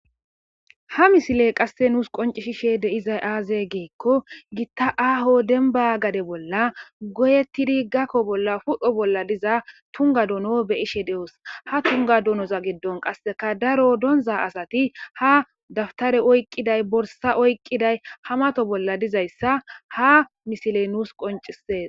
Ha misile qasse nuus qoncishishe deizay aaze geekko gitta aaho denba gade bolla goyettidi gakko bolla pudho bolla diza tunga dono beyishe de'os ha tunga donoza giddon qasseka daro donza asati ha daftare oyqqiday borsa oyqqiday hamato bolla dizayssa ha misiley nuus qoncisees